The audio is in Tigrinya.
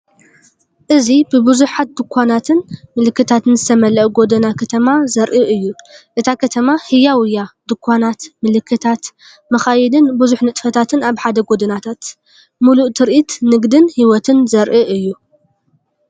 እዚ ብብዙሓት ድኳናትን ምልክታትን ዝተመልአ ጎደና ከተማ ዘርኢ እዩ። እታ ከተማ ህያው እያ! ድኳናት፡ ምልክታት፡ መካይንን ብዙሕ ንጥፈታትን ኣብ ሓደ ጎደናታት። ምሉእ ትርኢት ንግድን ህይወትን ዘርኢ እዩ።